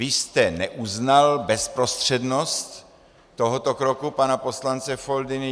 Vy jste neuznal bezprostřednost tohoto kroku pana poslance Foldyny.